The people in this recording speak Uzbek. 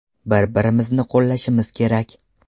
Bir-birimizni qo‘llashimiz kerak.